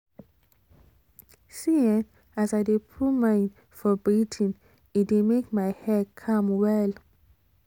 see[um]as i de put mind for breathing e dey make my head calm well